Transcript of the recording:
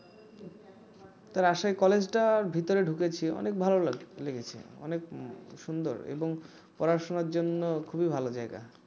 Rajshahi college টার ভিতরে ঢুকেছি অনেক ভালো লেগেছে অনেক সুন্দর এবং পড়াশোনার জন্য খুবই ভালো জায়গা